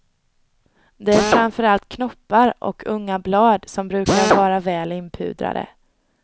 Det är framför allt knoppar och unga blad som brukar vara väl inpudrade.